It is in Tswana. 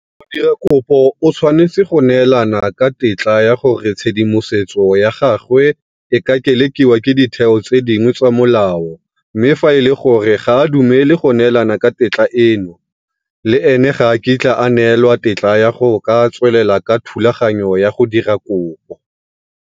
Modirakopo o tshwanetse go neelana ka tetla ya gore tshedimosetso ya gagwe e ka kelekiwa ke ditheo tse dingwe tsa molao mme fa e le gore ga a dumele go neelana ka tetla eno, le ene ga a kitla a neelwa tetla ya go ka tswelela ka thulaganyo ya go dira kopo.